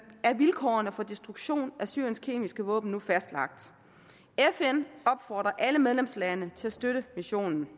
er vilkårene for destruktionen af syriens kemiske våben nu fastlagt fn opfordrer alle medlemslandene til at støtte missionen